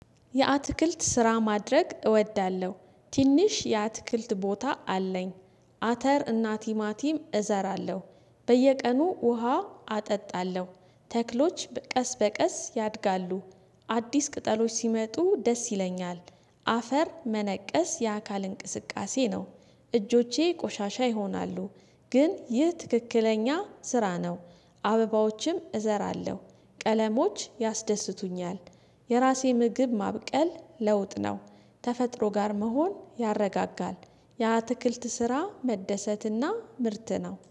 የአትክልት ስራ ማድረግ እወዳለሁ ትንሽ የአትክልት ቦታ አለኝ። አተር እና ቲማቲም እዘራለሁ በየቀኑ ውሃ አጠጣለሁ ተክሎች ቀስ በቀስ ያድጋሉ። አዲስ ቅጠሎች ሲመጡ ደስ ይለኛል። አፈር መነቀስ የአካል እንቅስቃሴ ነው። እጆቼ ቆሻሻ ይሆናሉ። ግን ይህ ትክክለኛ ስራ ነው። አበባዎችም እዘራለሁ ቀለሞች ያስደስቱኛል። የራሴ ምግብን ማብቀል ለውጥ ነው። ከተፈጥሮ ጋር መሆን ያረጋጋል። የአትክልት ስራ መደሰትና ምርት ነው